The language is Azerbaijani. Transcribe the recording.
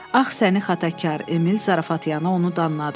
Ağ səni xatakar, Emil zarafat yana onu danladı.